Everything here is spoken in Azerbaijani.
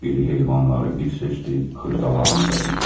İri heyvanları bir seçdi, xırdalarını da bir.